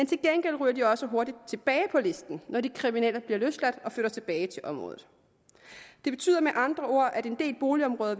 til gengæld ryger det også hurtigt tilbage på listen når de kriminelle bliver løsladt og flytter tilbage til området det betyder med andre ord at en del boligområder